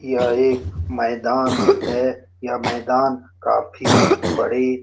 यह एक मैदान है यह मैदान काफी बड़ी -